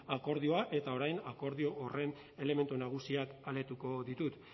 akordioa eta orain akordio horren elementu nagusiak aletuko ditut